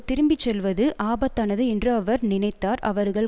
திரும்பி செல்வது ஆபத்தானது என்று அவர் நினைத்தார் அவர்கள்